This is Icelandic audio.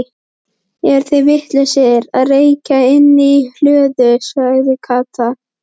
Eru þeir vitlausir að reykja inni í hlöðu? sagði Kata.